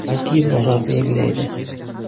Balki, bozor belgilaydi.